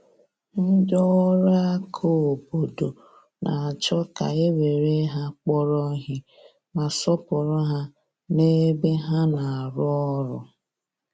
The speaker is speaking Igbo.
Ndị ọrụ aka obodo na-achọ ka e were ha kpọrọ ihe, ma sọọpụrụ ha n’ebe ha na-arụ ọrụ.